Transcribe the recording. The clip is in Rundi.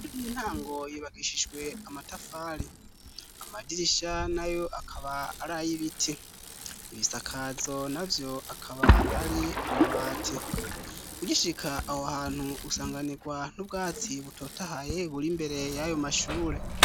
Intango yubakishijwe amatafari ,amadirisha nayo akaba ari ay'ibiti ,ibisakazo navyo akaba ari amabati ,ugishika aho hantu usanganirwa n'ubwatsi butotahaye buri mbere y'ayo mashure.